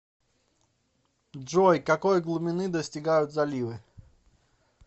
джой какой глубины достигают заливы